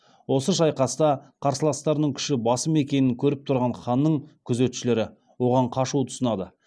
осы шайқаста қарсыластарының күші басым екенін көріп тұрған ханның күзетшілері оған қашуды ұсынады